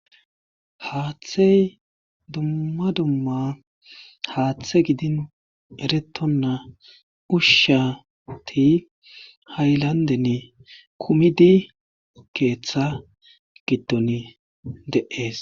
Haathey dumma dumma haathe gidi erettonna usheti haylanndeni kumidi keetha giddoni de7ees.